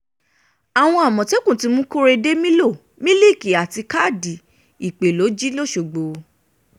àwọn àmọ̀tẹ́kùn ti mú korede mílò mílíìkì àti káàdì ìpè ló jí lọ́sogbò